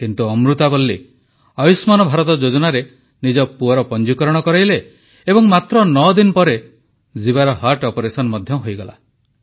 କିନ୍ତୁ ଅମୃତାବଲ୍ଲୀ ଆୟୁଷ୍ମାନ ଭାରତ ଯୋଜନାରେ ନିଜ ପୁଅର ପଂଜିକରଣ କରାଇଲେ ଏବଂ ମାତ୍ର ନଅଦିନ ପରେ ଜୀବାର ଅପରେସନ ମଧ୍ୟ ହୋଇଗଲା